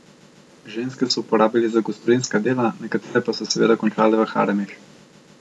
Ženske so uporabili za gospodinjska dela, nekatere pa so seveda končale v haremih.